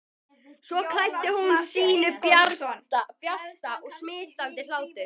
Svo hlær hún sínum bjarta og smitandi hlátri.